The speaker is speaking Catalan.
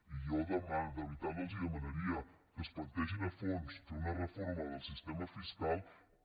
i jo de veritat els demanaria que es plantegin a fons fer una reforma del sistema fiscal per